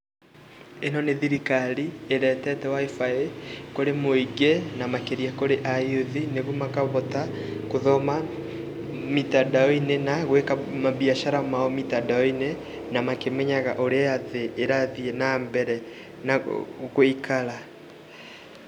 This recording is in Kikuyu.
Ĩno nĩ thirikari ĩretete WIFI kũrĩ mũingĩ na makĩria kũrĩ a [c] youth nĩguo makahota gũthoma mitandao-inĩ na gwĩka mabiacara mao mitandao -inĩ na makĩmenyaga ũrĩa thĩ ĩrathiĩ na mbere na gũikara.